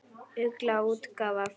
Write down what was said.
Ugla útgáfa.